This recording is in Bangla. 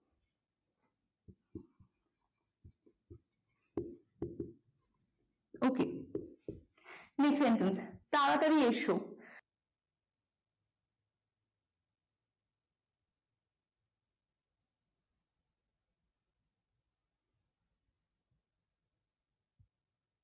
ok next sentence তাড়াতাড়ি এসো।